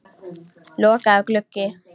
Lokaður gluggi.